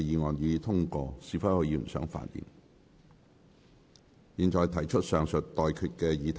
我現在向各位提出上述待決議題。